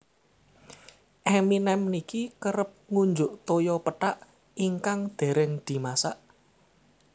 Eminem niki kerep ngunjuk toya pethak ingkang dereng dimasak